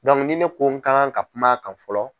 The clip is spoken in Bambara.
ni ne ko ko n ka kan ka kuma kan fɔlɔ.